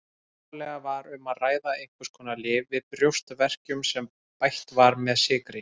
Upphaflega var um að ræða einhvers konar lyf við brjóstverkjum sem bætt var með sykri.